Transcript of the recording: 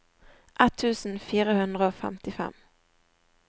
ett tusen fire hundre og femtifem